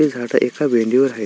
हे झाड एका भेंडी वर आहेत.